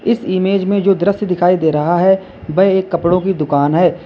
इस इमेज में जो दृश्य दिखाई दे रहा है वह एक कपड़ों की दुकान है।